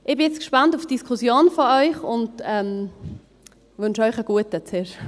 Ich bin jetzt gespannt auf die Diskussion und wünsche Ihnen zuerst einen guten Appetit.